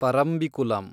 Parambikulam